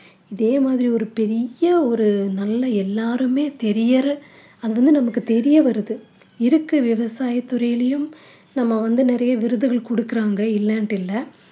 இதே மாதிரி ஒரு பெரிய ஒரு நல்ல எல்லாருமே தெரியற அது வந்து நமக்கு தெரிய வருது இருக்கு விவசாயத் துறையிலும் நம்ம வந்து நிறைய விருதுகள் கொடுக்கிறாங்க இல்லன்னிட்டு இல்ல